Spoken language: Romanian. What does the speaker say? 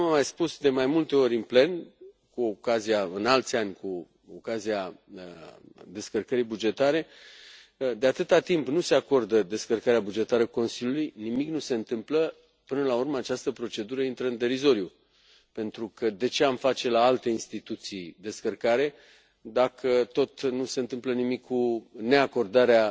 Așa cum am mai spus de mai multe ori în plen, în alți ani, cu ocazia descărcării bugetare, de atâta timp nu se acordă descărcarea bugetară Consiliului, nimic nu se întâmplă, până la urmă această procedură intră în derizoriu pentru că de ce am face la alte instituții descărcare dacă tot nu se întâmplă nimic cu neacordarea